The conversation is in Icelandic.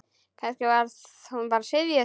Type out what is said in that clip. Kannski var hún bara syfjuð.